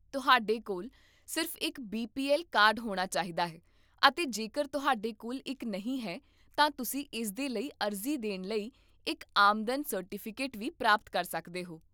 ਤੁਹਾਡੇ ਕੋਲ ਸਿਰਫ਼ ਇੱਕ ਬੀ ਪੀ ਐੱਲ ਕਾਰਡ ਹੋਣਾ ਚਾਹੀਦਾ ਹੈ ਅਤੇ ਜੇਕਰ ਤੁਹਾਡੇ ਕੋਲ ਇੱਕ ਨਹੀਂ ਹੈ, ਤਾਂ ਤੁਸੀਂ ਇਸਦੇ ਲਈ ਅਰਜ਼ੀ ਦੇਣ ਲਈ ਇੱਕ ਆਮਦਨ ਸਰਟੀਫਿਕੇਟ ਵੀ ਪ੍ਰਾਪਤ ਕਰ ਸਕਦੇ ਹੋ